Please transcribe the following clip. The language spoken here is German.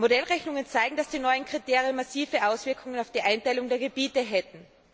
Modellrechnungen zeigen, dass die neuen Kriterien massive Auswirkungen auf die Einteilung der Gebiete hätten.